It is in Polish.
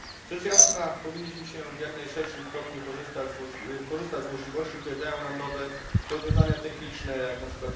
Rzecz jasna powinniśmy w jak najszerszym stopniu korzystać z możliwości, które dają nam nowe rozwiązania techniczne, jak np.